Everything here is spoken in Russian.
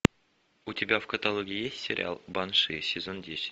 у тебя в каталоге есть сериал банши сезон десять